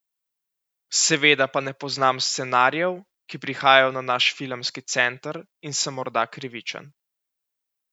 Seveda pa ne poznam scenarijev, ki prihajajo na naš filmski center, in sem morda krivičen.